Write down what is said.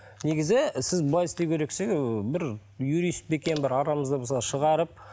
негізі сіз былай істеу керексің і бір юрист пе екен бір арамызда мысалы шығарып